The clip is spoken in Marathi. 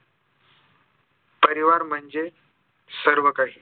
परिवार म्हणजे सर्व काही